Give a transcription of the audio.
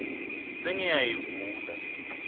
sengiyayivula